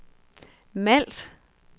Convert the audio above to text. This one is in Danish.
Malt